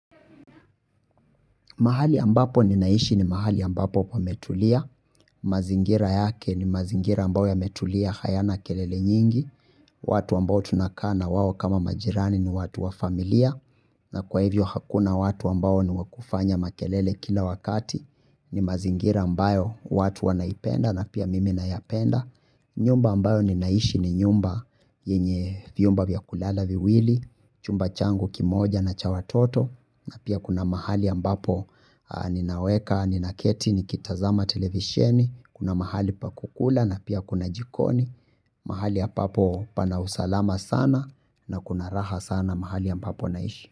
Mahali ambapo ninaishi ni mahali ambapo pametulia, mazingira yake ni mazingira ambayo yametulia, hayana kelele nyingi, watu ambao tunakaa nawao kama majirani ni watu wa familia, na kwa hivyo hakuna watu ambao ni wankufanya makelele kila wakati, ni mazingira ambayo watu wanaipenda na pia mimi nayapenda. Nyumba ambayo ninaishi ni nyumba yenye vyumba vya kulala viwili. Chumba changu kimoja na cha watoto. Na pia kuna mahali ambapo ninaweka, ninaketi nikitazama televisheni. Kuna mahali pa kukula na pia kuna jikoni. Mahali hapapo pana usalama sana. Na kuna raha sana mahali ambapo naishi.